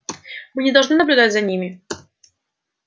мы не должны наблюдать за ними